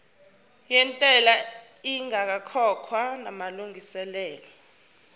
yentela ingakakhokhwa namalungiselo